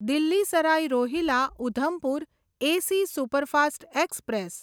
Delhi Sarai Rohilla Udhampur AC superfast express